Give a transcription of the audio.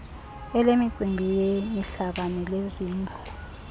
elemicimbi yemihlaba nelezindlu